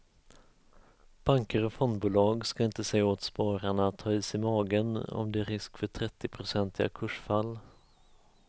Banker och fondbolag ska inte säga åt spararna att ha is i magen om det är en risk för trettionprocentiga kursfall.